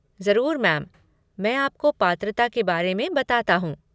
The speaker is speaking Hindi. ज़रूर, मैम! मैं आपको पात्रता के बारे में बताता हूँ।